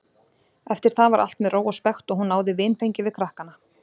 Eftir það var allt með ró og spekt og hún náði vinfengi við krakkana.